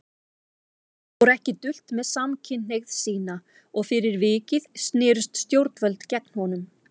Hann fór ekki dult með samkynhneigð sína og fyrir vikið snerust stjórnvöld gegn honum.